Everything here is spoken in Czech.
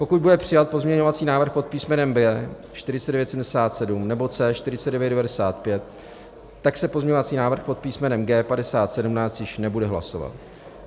Pokud bude přijat pozměňovací návrh pod písmenem B 4977 nebo C 4995, tak se pozměňovací návrh pod písmenem G 5017 již nebude hlasovat.